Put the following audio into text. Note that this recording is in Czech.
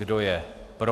Kdo je pro?